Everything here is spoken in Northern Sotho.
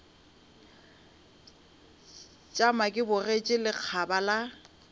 tšama ke bogetše lekgaba la